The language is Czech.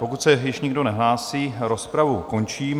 Pokud se již nikdo nehlásí, rozpravu končím.